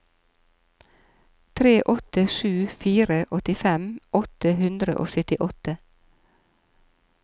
tre åtte sju fire åttifem åtte hundre og syttiåtte